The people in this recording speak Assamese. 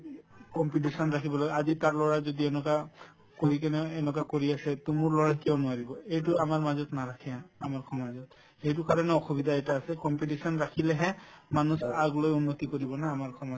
competition ৰাখিব লাগে আজি তাৰ লৰাই যদি এনেকুৱা কৰি কিনে এনেকুৱা কৰি আছে to মোৰ লৰাই কিয় নোৱাৰিব এইটো আমাৰ মাজত নাৰাখে আমাৰ সমাজত সেইটোৰ কাৰণে অসুবিধা এটা আছে competition ৰাখিলেহে মানুহ আগলৈ উন্নতি কৰিব ন আমাৰ সমাজতো